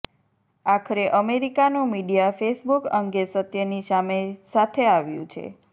આખરે અમેરિકાનું media Facebook અંગે સત્યની સાથે સામે આવ્યું છે